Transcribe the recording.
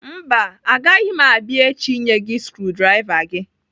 Mba, agaghị m abia echi inye gị skrudrava gị.